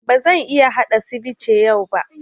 Ba zan iya haɗa sivice yau ba